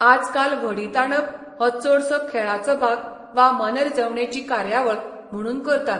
आजकाल व्हडीं ताणप हो चडसो खेळाचो भाग वा मनरिजवणेची कार्यावळ म्हुणून करतात.